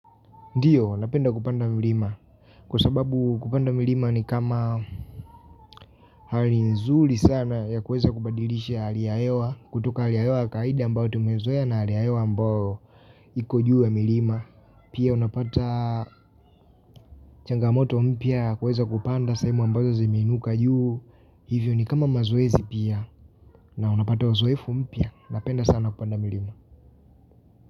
Ndio, napenda kupanda mlima. Kwa sababu kupanda milima ni kama hali nzuri sana ya kueza kubadilisha hali ya hewa. Kutoka hali ya hewa ya kawaida ambayo tumezoea na hali ya hewa ambayo iko juu ya milima. Pia unapata changa moto mpya ya kuweza kupanda sehemu ambazo zimeinuka juu. Hivyo ni kama mazoezi pia. Na unapata uzoefu mpya. Napenda sana kupanda milima.